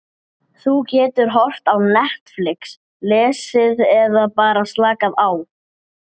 Nei, ertu vitlaus maður!